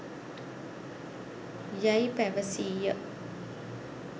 යැයි පැවසීය.